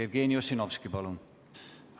Jevgeni Ossinovski, palun!